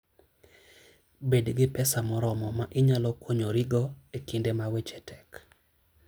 Bed gi pesa moromo ma inyalo konyorigo e kinde ma weche tek.